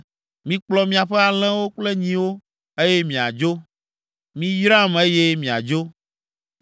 Mikplɔ miaƒe alẽwo kple nyiwo, eye miadzo. Miyram eye miadzo.”